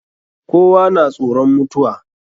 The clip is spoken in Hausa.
Kowa na tsoron mutuwa.